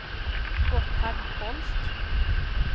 Gotthard Holst